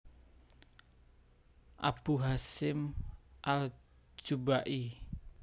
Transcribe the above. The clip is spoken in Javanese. Abu Hasyim al Jubba i